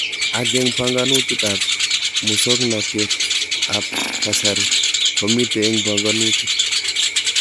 Ako eng panganet ab musoknatet ab kasari komitei eng panganutik.